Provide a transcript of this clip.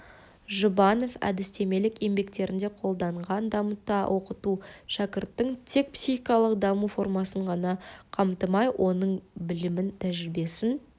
жұбанов әдістемелік еңбектерінде қолданған дамыта оқыту шәкірттің тек психикалық даму формасын ғана қамтымай оның білімін тәжірибесін